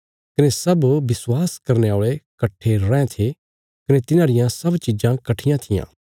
कने सब विश्वास करने औल़े कट्ठे रैं थे कने तिन्हांरियां सब चीज़ा कट्ठियां थिआं